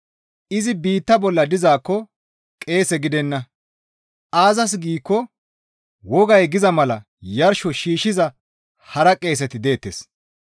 Izi biitta bolla dizaakko qeese gidenna; aazas giikko wogay giza mala yarsho shiishshiza hara qeeseti deettes.